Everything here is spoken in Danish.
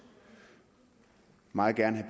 meget gerne